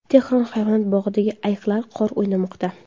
Tehron hayvonot bog‘idagi ayiqlar qor o‘ynamoqda .